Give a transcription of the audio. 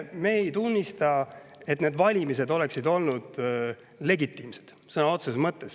Me ei tunnista, et need valimised olid legitiimsed sõna otseses mõttes.